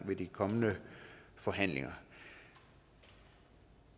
ved de kommende forhandlinger